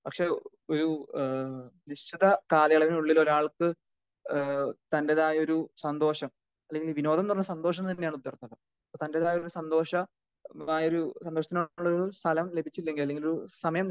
പക്ഷെ ഒരു ഏഹ് നിശ്ചിത കാലയളവിനുള്ളിൽ ഒരാൾക്ക് ഏഹ് തന്റെതായ ഒരു സന്തോഷം അല്ലെങ്കിൽ വിനോദം ന്ന് പറഞ്ഞാൽ സന്തോഷം തന്നെ ആണ് ട്ടോ അർത്ഥം അപ്പൊ തന്റെതായുള്ള ഒരു സന്തോഷമായൊരു സന്തോഷത്തിന് ഒക്കെ ഉള്ള ഒരു സ്ഥലം ലഭിച്ചില്ലെങ്കിൽ അല്ലെങ്കിൽ ഒരു സമയം